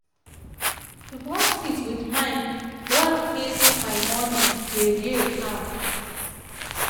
to brush teeth with mind don make my morning dey dey calm.